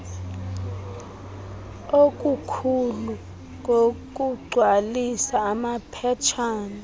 okukhulu ngokugcwalisa amaphetshana